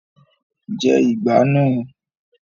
Jẹ ìgbá náà!